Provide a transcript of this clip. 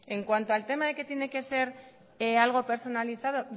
en cuanto al tema de que tiene que ser algo personalizado